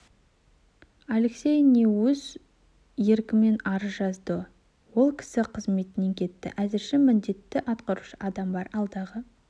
алексей ни өз еркімен арыз жазды ол кісі қызметінен кетті әзірше міндетін атқарушы адам бар алдағы